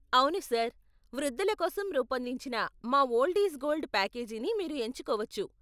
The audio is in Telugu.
అవును సార్, వృద్ధుల కోసం రూపొందించిన మా 'ఓల్డ్ ఈజ్ గోల్డ్' ప్యాకేజీని మీరు ఎంచుకోవచ్చు.